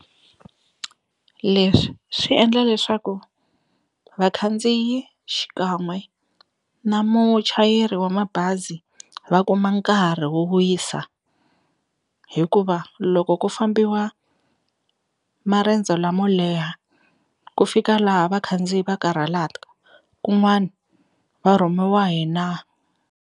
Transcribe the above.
Leswi swi endla leswaku vakhandziyi xikan'we na muchayeri wa mabazi va kuma nkarhi wo wisa hikuva loko ku fambiwa marendzo lamo leha ku fika laha vakhandziyi va karhala kun'wana va rhumiwa hina.